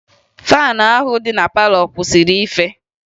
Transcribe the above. faanụ ahụ dị na palọ kwụsịrị ife